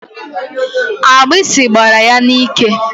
Agbịsị gbara ya n'ike.